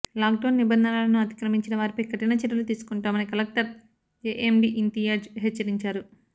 lock down నిబంధనలను అతిక్రమించిన వారిపై కఠిన చర్యలు తీసుకుంటామని కలెక్టర్ ఏఎండీ ఇంతియాజ్ హెచ్చరించారు